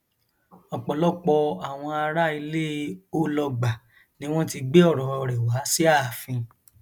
ọpọlọpọ àwọn ará ilẹ olọgbà ni wọn ti gbé ọrọ rẹ wá sí ààfin